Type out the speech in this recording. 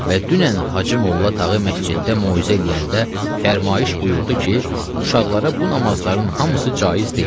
Və dünən Hacı Molla Tağı məsciddə moizə eləyəndə fərmayış buyurdu ki, uşaqlara bu namazların hamısı caiz deyil.